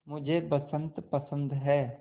मुझे बसंत पसंद है